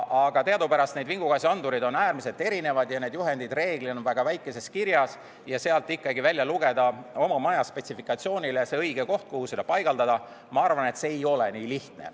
Aga teadupärast need vingugaasiandurid on äärmiselt erinevad ja need juhendid reeglina väga väikeses kirjas ja sealt välja lugeda oma majas see õige koht, kuhu seda paigaldada, ma arvan, et see ei ole nii lihtne.